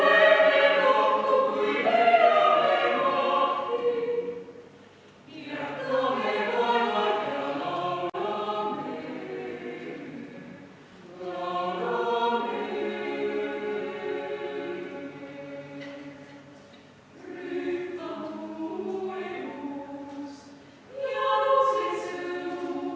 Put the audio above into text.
Ma palun teid kõiki kell 13.15 valgesse saali Eesti parlamendi ajaloost kõneleva raamatu esitlusele.